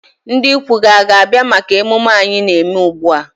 Ndị ikwu gị hà ga-abịa maka ememme anyị na-eme ugbu a?